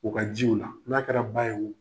U ka jiw la . N'a kɛra ba ye wo